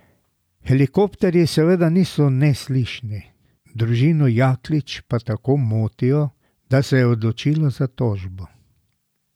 Helikopterji seveda niso neslišni, družino Jaklič pa tako motijo, da se je odločila za tožbo.